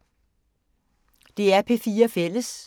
DR P4 Fælles